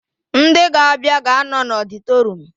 Ndị ga-abịa ga-anọ n'ọdịtorum